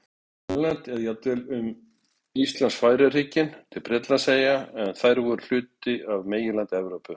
Grænland eða jafnvel um Íslands-Færeyja-hrygginn til Bretlandseyja en þær voru þá hluti af meginlandi Evrópu.